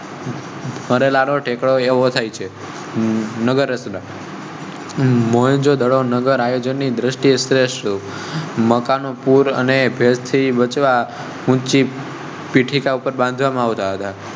ટેક્નો એવો થાય છે નગર. મૌજો નગર આયોજનની દ્રષ્ટિએ શ્રેષ્ઠ મકાન પુર અને ભેજ થી બચાવવા ઊંચી પીઠિકા ઉપર બાંધવા માં આવતા